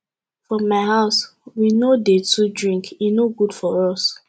for my house we no dey too drink e no good for us